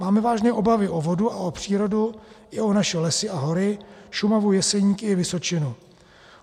Máme vážné obavy o vodu a o přírodu i o naše lesy a hory, Šumavu, Jeseníky i Vysočinu.